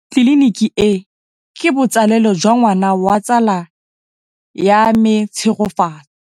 Tleliniki e, ke botsalêlô jwa ngwana wa tsala ya me Tshegofatso.